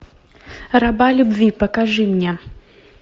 раба любви покажи мне